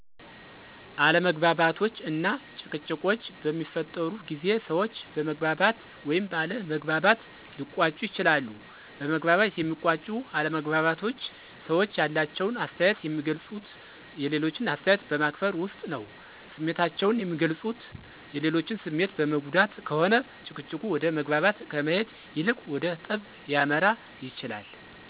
አለመግባባቶች እና ጭቅጭቆች በሚፈጠሩ ጊዜ ሰዎች በመግባባት ወይም ባለ መግባባት ሊቋጩ ይችላሉ። በመግባባት የሚቋጩ አለመግባባቶች ሰዎች ያላቸውን አስተያየት የሚገልፁት የሌሎችን አስተያየት በማክበር ውስጥ ነው። ስሜታቸውን የሚገልፁት የሌሎችን ስሜት በመጉዳት ከሆነ ጭቅጭቁ ወደ መግባባት ከመሄድ ይልቅ ወደ ጠብ ሊያመራ ይችላል።